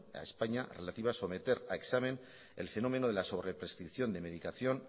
a españa relativa a someter a examen el fenómeno de la sobreprescripción de la medicación